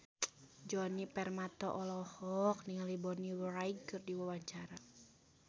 Djoni Permato olohok ningali Bonnie Wright keur diwawancara